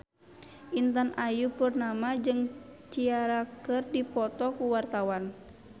Intan Ayu Purnama jeung Ciara keur dipoto ku wartawan